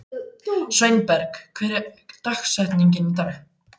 Sveinberg, hver er dagsetningin í dag?